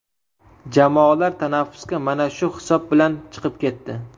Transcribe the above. Jamoalar tanaffusga mana shu hisob bilan chiqib ketdi.